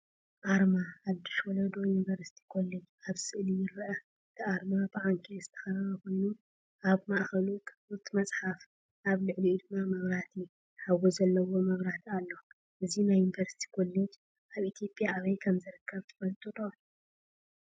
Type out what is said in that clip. ኣርማ “ሓድሽ ወለዶ ዩኒቨርሲቲ ኮሌጅ” ኣብ ስእሊ ይርአ። እቲ ኣርማ ብዓንኬል ዝተኸበበ ኮይኑ፡ ኣብ ማእከሉ ክፉት መጽሓፍ፡ ኣብ ልዕሊኡ ድማ መብራህቲ ሓዊ ዘለዎ መብራህቲ ኣሎ። እዚ ናይ ዩኒቨርስቲ ኮሌጅ ኣብ ኢትዮጵያ ኣበይ ከም ዝርከብ ትፈልጡ ዶ?